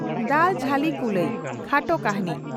"ᱫᱟᱞ ᱡᱷᱟᱹᱞᱤ ᱠᱩᱞᱟᱹᱭ" (ᱠᱷᱟᱴᱚ ᱠᱟᱹᱦᱱᱤ)